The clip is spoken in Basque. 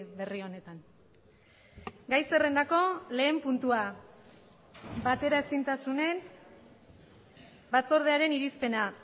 berri honetan gai zerrendako lehen puntua bateraezintasunen batzordearen irizpena